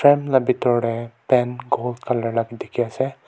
om la bitor tae paint gold colour la bi dikhiase.